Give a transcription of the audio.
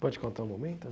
Pode contar o momento?